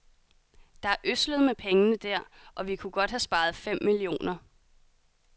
Der er ødslet med pengene der, og vi kunne godt have sparet fem millioner.